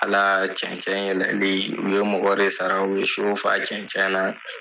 Ala cɛncɛ yɛlɛli u ye mɔgɔ de sara u ye so fa cɛncɛ na